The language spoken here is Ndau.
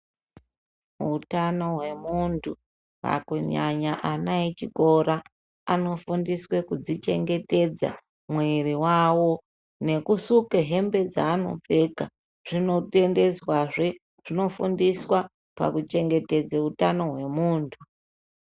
Utano hwemuntu kunyanya ana echikora anofundiswe kudzichengetedza mwiri wawo ngekusuke hembe dzaanopfeka zvinotendedzwazve, zvinofundiswa pakuchengetedze utano hwemuntu.